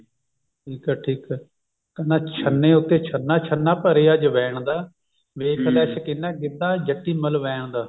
ਠੀਕ ਹੈ ਠੀਕ ਹੈ ਕਹਿੰਦੇ ਛੰਨੇ ਉੱਤੇ ਛੰਨਾ ਛੰਨਾ ਭਰਿਆ ਜਵੈਣ ਦਾ ਵੇਖ ਲੈ ਸ਼ਕੀਨਾ ਗਿੱਧਾ ਜੱਟੀ ਮਲਵੈਨ ਦਾ